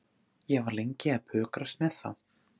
Ég var lengi að pukrast með þá.